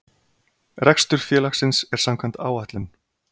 Rekstur félagsins er samkvæmt áætlun